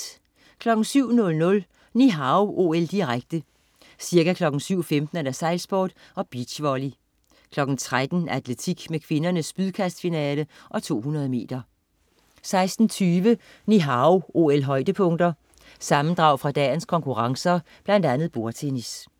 07.00 Ni Hao OL, direkte. Ca. kl. 7.15: Sejlsport og beachvolley. 13.00: Atletik med kvindernes spydkastfinale og 200-meter 16.20 Ni Hao OL-højdepunkter. Sammendrag fra dagens konkurrencer, blandt andet bordtennis